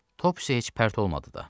Topsy heç pərt olmadı da.